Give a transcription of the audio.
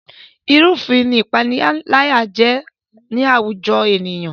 Ìrúfin ni ìpániláyà jẹ́ ní àwùjọ ènìyàn